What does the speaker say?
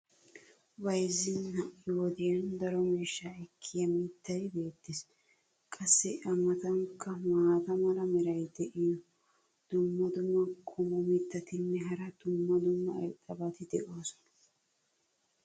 bayzzin ha'i wodiyan daro miishshaa ekkiya mitay beetees. qassi a matankka maata mala meray diyo dumma dumma qommo mitattinne hara dumma dumma irxxabati de'oosona.